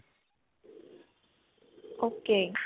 ok.